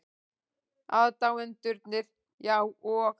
Aðdáendurnir, já, og?